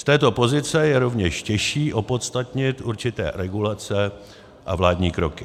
Z této pozice je rovněž těžší opodstatnit určité regulace a vládní kroky.